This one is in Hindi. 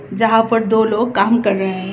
यहां पर दो लोग काम कर रहे हैं।